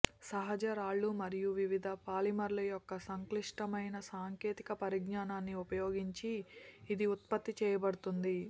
సహజ రాళ్ళు మరియు వివిధ పాలిమర్ల యొక్క సంక్లిష్టమైన సాంకేతిక పరిజ్ఞానాన్ని ఉపయోగించి ఇది ఉత్పత్తి చేయబడుతుంది